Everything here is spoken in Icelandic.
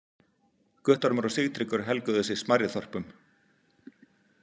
Guttormur og Sigtryggur helguðu sig smærri þorpum.